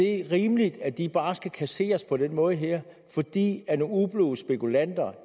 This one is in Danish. er rimeligt at de bare skal kasseres på den måde her fordi det er nogle ublu spekulanter